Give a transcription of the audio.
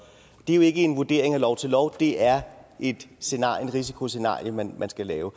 det er jo ikke en vurdering af lov til lov det er et risikoscenarie man skal lave